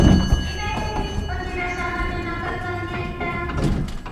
имеется ли у тебя самая одинокая планета